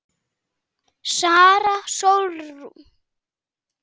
Sara Sólrún.